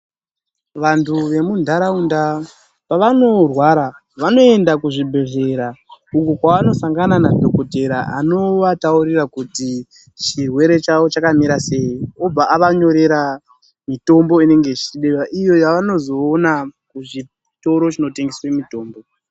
Vantu vemuntaraunda pavanorwara, vanoenda kuzvibhedhlera uko kwavanosangana nadhokodheya anovataurira kuti chirwere chavo chakamira sei. Obva avanyorera mitombo inenge ichidiwa iyo yavanozoona kuzviitoro zviinotengesa mitombo.